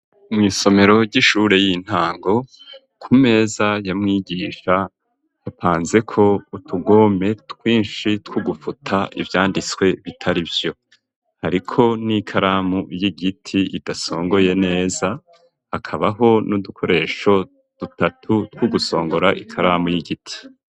Mw'isomero ry'ishure y'intango ku meza yamwigisha hapanzeko utugome twinshi tw'ugufuta ivyanditswe bitarivyo ariko n'ikaramu y'igiti idasongoye neza hakabaho n'udukoresho dutatu tw'ugusongora ikaramu y'igiti.